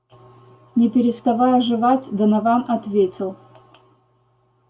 не переставая жевать донован ответил